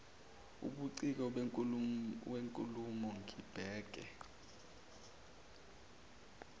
ubuciko benkulumo ngibheke